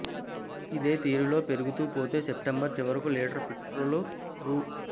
ఇదే తీరులో పెరుగుతూ పోతే సెప్టెంబరు చివరకు లీటరు పెట్రోల్ రూ